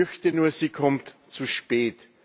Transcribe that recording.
Ich fürchte nur, sie kommt zu spät.